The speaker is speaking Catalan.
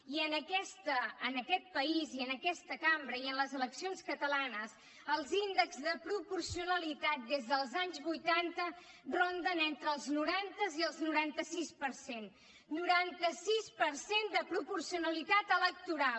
i en aquest país i en aquesta cambra i en les eleccions catalanes els índexs de proporcionalitat des dels anys vuitanta ronden entre els noranta i els noranta sis per cent noranta sis per cent de proporcionalitat electoral